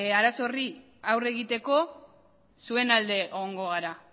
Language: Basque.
arazo horri aurre egiteko zuen alde egongo gara